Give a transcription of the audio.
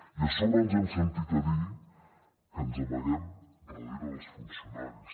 i a sobre ens hem sentit a dir que ens amaguem darrere dels funcionaris